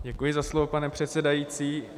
Děkuji za slovo, pane předsedající.